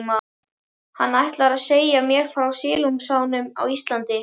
Hann ætlar að segja mér frá silungsánum á Íslandi.